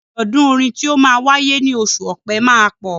Àjọ̀dún orin tí ó máa wáyé ní oṣù Ọpẹ́ máa pọ̀.